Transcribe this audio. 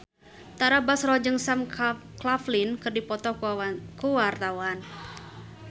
Tara Basro jeung Sam Claflin keur dipoto ku wartawan